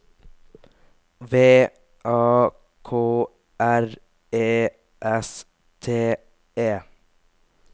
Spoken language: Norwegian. V A K R E S T E